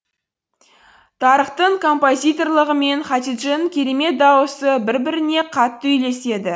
тарыктың композиторлығы мен хатидженің керемет даусы бір біріне қатты үйлеседі